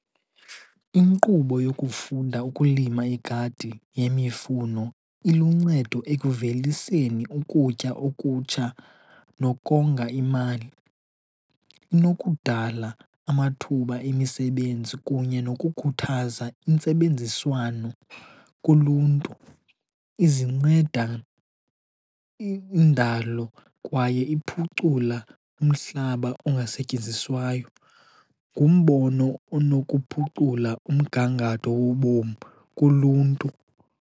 Inkqubo yokufunda ukulima igadi yemifuno iluncedo ekuveliseni ukutya okutsha nokonga imali. Inokudala amathuba emisebenzi kunye nokukhuthaza intsebenziswano kuluntu. Izinceda indalo kwaye iphucula umhlaba ongasetyenziswayo. Ngumbono onokuphucula umgangatho wobomu kuluntu.